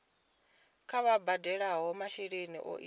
kha vha badele masheleni o tiwaho